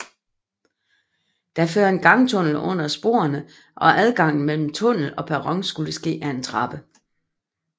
Der fører en gangtunnel under sporene og adgangen mellem tunnel og perron skulle ske ad en trappe